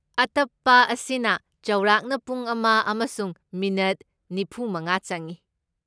ꯑꯇꯞꯄ ꯑꯁꯤꯅ ꯆꯥꯎꯔꯥꯛꯅ ꯄꯨꯡ ꯑꯃ ꯑꯃꯁꯨꯡ ꯃꯤꯅꯤꯠ ꯅꯤꯐꯨꯃꯉꯥ ꯆꯪꯏ꯫